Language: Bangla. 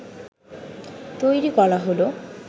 তৈরি করা হলো